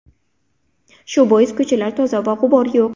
Shu bois ko‘chalar toza va g‘ubor yo‘q.